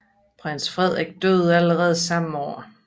Prins Frederik døde allerede samme år